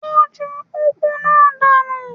Ó ju úgú náà dànù.